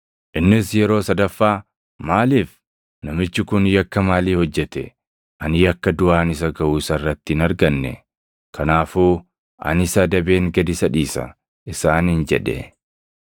Innis yeroo sadaffaa, “Maaliif? Namichi kun yakka maalii hojjete? Ani yakka duʼaan isa gaʼu isa irratti hin arganne. Kanaafuu ani isa adabeen gad isa dhiisa” isaaniin jedhe.